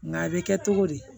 Nka a bɛ kɛ togo di